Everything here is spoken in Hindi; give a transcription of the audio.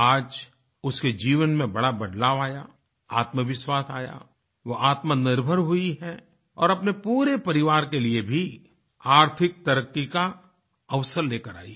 आज उसके जीवन में एक बड़ा बदलाव आया आत्मविश्वास आया वह आत्मनिर्भर हुई है और अपने पूरे परिवार के लिए भी आर्थिक तरक्की का अवसर लेकर आई है